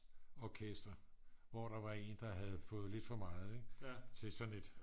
orkestre hvo der var en der havde fået lidt for meget til sådan et